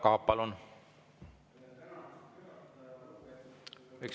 Tänan, härra juhataja!